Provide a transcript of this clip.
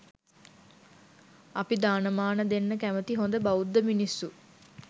අපි දානමාන දෙන්න කැමති හොඳ බෞද්ධ මිනිස්‌සු.